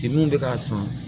I mun bɛ k'a san